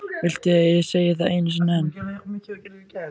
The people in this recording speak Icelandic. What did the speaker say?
Viltu að ég segi það einu sinni enn?